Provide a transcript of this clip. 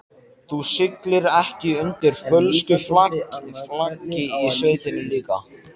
Þú siglir ekki undir fölsku flaggi í sveitinni líka?